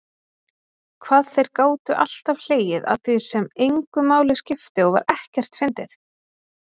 Hvað þeir gátu alltaf hlegið að því sem engu máli skipti og var ekkert fyndið.